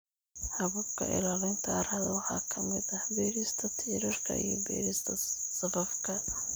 Hababka ilaalinta carrada waxaa ka mid ah beerista tiirarka iyo beerista safafka.